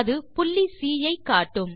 அது புள்ளி C I காட்டும்